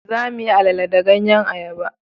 za mu yi alele da ganyen ayaba